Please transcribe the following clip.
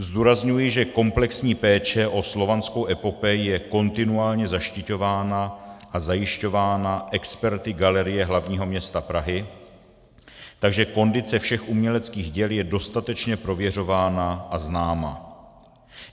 Zdůrazňuji, že komplexní péče o Slovanskou epopej je kontinuálně zaštiťována a zajišťována experty Galerie hlavního města Prahy, takže kondice všech uměleckých děl je dostatečně prověřována a známa.